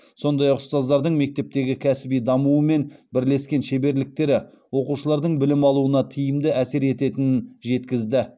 сондай ақ ұстаздардың мектептегі кәсіби дамуы мен бірлескен шеберліктері оқушылардың білім алуына тиімді әсер ететінін жеткізді